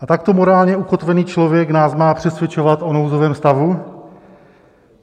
A takto morálně ukotvený člověk nás má přesvědčovat o nouzovém stavu?